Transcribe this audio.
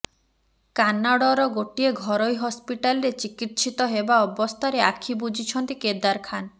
କାନାଡର ଗୋଟିଏ ଘରୋଇ ହସ୍ପିଟାଲରେ ଚିକିତ୍ସିତ ହେବା ଅବସ୍ଥାରେ ଆଖି ବୁଜିଛନ୍ତି କେଦାର ଖାନ୍